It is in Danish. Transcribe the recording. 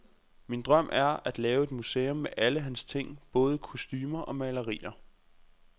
Min drøm er, at lave et museum med alle hans ting, både kostumer og malerier.